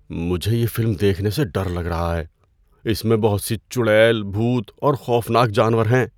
مجھے یہ فلم دیکھنے سے ڈر لگ رہا ہے۔ اس میں بہت سی چڑیل، بھوت اور خوفناک جانور ہیں۔